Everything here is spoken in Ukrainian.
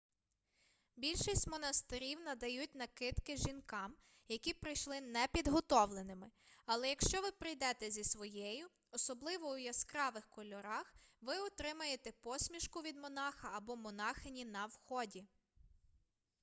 більшість монастирів надають накидки жінкам які прийшли непідготовленими але якщо ви прийдете зі своєю особливо у яскравих кольорах ви отримаєте посмішку від монаха або монахині на вході